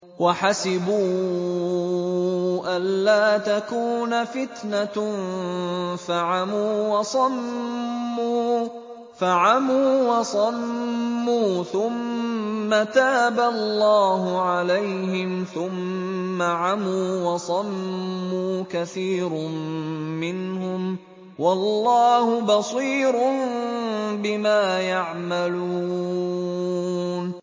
وَحَسِبُوا أَلَّا تَكُونَ فِتْنَةٌ فَعَمُوا وَصَمُّوا ثُمَّ تَابَ اللَّهُ عَلَيْهِمْ ثُمَّ عَمُوا وَصَمُّوا كَثِيرٌ مِّنْهُمْ ۚ وَاللَّهُ بَصِيرٌ بِمَا يَعْمَلُونَ